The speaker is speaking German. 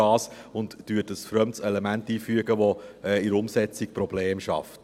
Man würde ein fremdes Element einfügen, das in der Umsetzung Probleme schafft.